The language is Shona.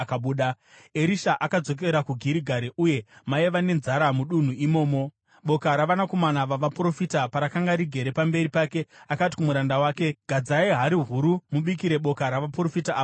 Erisha akadzokera kuGirigari uye maiva nenzara mudunhu imomo. Boka ravanakomana vavaprofita parakanga rigere pamberi pake, akati kumuranda wake, “Gadzai hari huru mubikire boka ravaprofita ava zvokudya.”